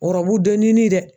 Ɔrɔbu dɔ nini dɛ